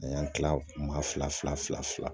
A y'an kila maa fila fila fila